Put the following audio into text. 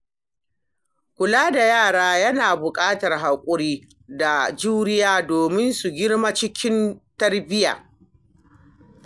Kula da yara yana buƙatar hakuri da juriya domin su girma cikin tarbiyya.